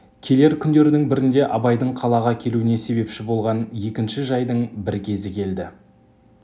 келер күндердің бірінде абайдың қалаға келуіне себепші болған екінші жайдың бір кезі келді